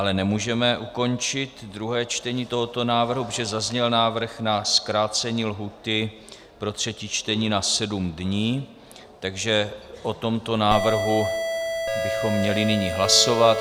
Ale nemůžeme ukončit druhé čtení tohoto návrhu, protože zazněl návrh na zkrácení lhůty pro třetí čtení na sedm dní, takže o tomto návrhu bychom měli nyní hlasovat.